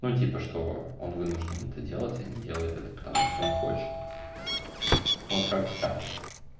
ну типа что он вынужден это делать а не делают это потому что он хочет вот как то так